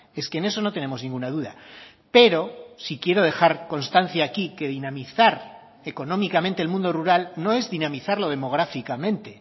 es que en eso no tenemos ninguna duda pero sí quiero dejar constancia aquí que dinamizar económicamente el mundo rural no es dinamizarlo demográficamente